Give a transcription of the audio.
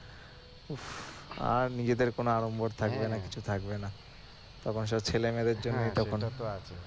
আর নিজেদের কোনো আড়ম্বর থাকবে না কিছু থাকবে না তখন সব ছেলে মেয়েদের জন্যই তখন